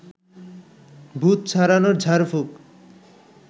ভূত ছাড়ানোর ঝাড়ফুঁক